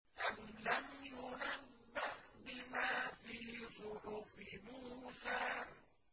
أَمْ لَمْ يُنَبَّأْ بِمَا فِي صُحُفِ مُوسَىٰ